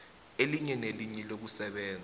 elinye nelinye lokusebenza